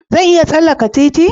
Zan iya tsallaka titi?